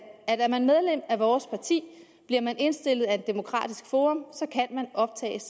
er man medlem af vores parti bliver man indstillet af et demokratisk forum så kan man optages